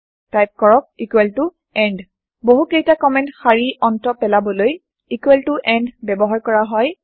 type কৰক end বহু কেইটা কমেন্ট শাৰি অন্ত পেলাবলৈ এণ্ড ব্যৱাহৰ কৰা হয়